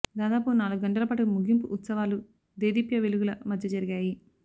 దాదాపు నాలుగు గంటల పాటు ముగింపు ఉత్సవాలు దేదీప్య వెలుగుల మధ్య జరిగాయి